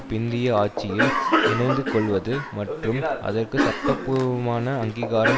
பிந்திய ஆட்சியில் இணைந்துகொள்வது மற்றும் அதற்கு சட்டபூர்வமான அங்கீகாரம்